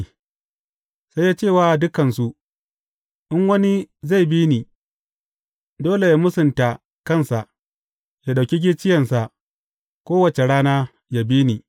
Sai ya ce wa dukansu, In wani zai bi ni, dole yă mūsanta kansa, ya ɗauki gicciyensa kowace rana, ya bi ni.